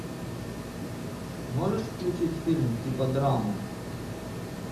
можешь включить фильм типа драмы